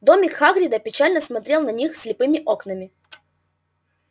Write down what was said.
домик хагрида печально смотрел на них слепыми окнами